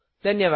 धन्यवाद